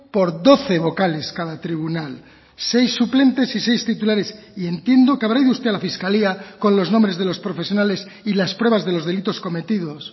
por doce vocales cada tribunal seis suplentes y seis titulares y entiendo que habrá ido usted a la fiscalía con los nombres de los profesionales y las pruebas de los delitos cometidos